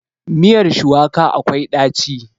Miyar shuwaka akwai ɗaci.